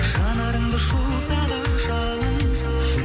жанарымды шоқса да жалын